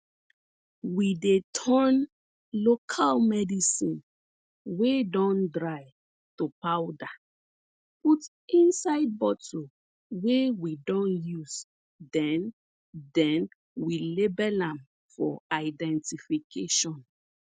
we dey turn local medicine wey don dry to powder put inside bottle wey we don use then then we label am for identification